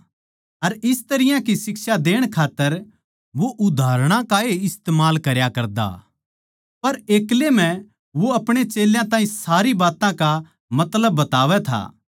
अर इस तरियां की शिक्षा देण खात्तर वो उदाहरणां का ए इस्तमाल करया करता पर एक्लै म्ह वो आपणे चेल्यां ताहीं सारी बात्तां का मतलब बतावै था